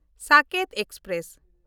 Saket express